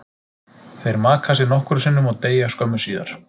Þeir maka sig nokkrum sinnum og deyja skömmu síðar.